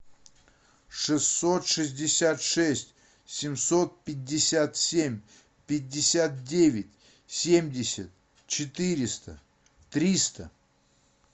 шестьсот шестьдесят шесть семьсот пятьдесят семь пятьдесят девять семьдесят четыреста триста